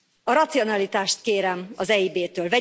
A racionalitást kérem az EIB től.